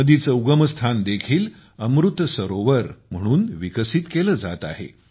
नदीचे उगमस्थान देखील अमृत सरोवर म्हणून विकसित केले जात आहे